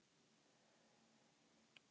Skoðum aðeins nánar hvað í þessu felst.